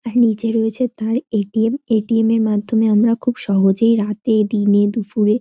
তার নিচে রয়েছে তার এ_টি_এম এ.টি.এম. -এর মাধ্যমে আমরা খুব সহজেই রাতে দিনে দুপুরে--